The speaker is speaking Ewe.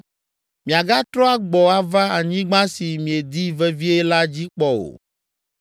Miagatrɔ agbɔ ava anyigba si miedi vevie la dzi kpɔ o.”